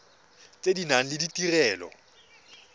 tse di nang le ditirelo